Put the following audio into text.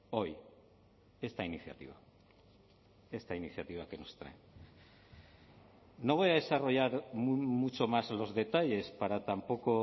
hoy esta iniciativa esta iniciativa que nos traen no voy a desarrollar mucho más los detalles para tampoco